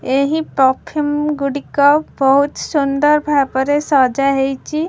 ଏହି ପ୍ରଫ୍ୟୁମ୍ ଗୁଡିକ ବହୁତ ସୁନ୍ଦର ଭାବରେ ସଜାହେଇଚି।